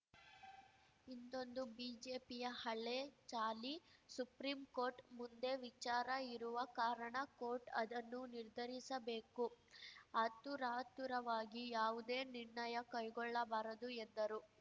ಇಂದೊಂದು ಬಿಜೆಪಿಯ ಹಲೇ ಚಾಳಿ ಸುಪ್ರಿಂ ಕೋರ್ಟ್‌ ಮುಂದೆ ವಿಚಾರ ಇರುವ ಕಾರಣ ಕೋರ್ಟ್ ಅದನ್ನು ನಿರ್ಧರಿಸಬೇಕು ಆತುರಾತುರವಾಗಿ ಯಾವುದೇ ನಿರ್ಣಯ ಕೈಗೊಳ್ಳಬಾರದು ಎಂದರು